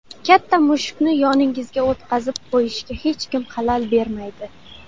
Katta mushukni yoningizga o‘tqazib qo‘yishga hech kim xalal bermaydi.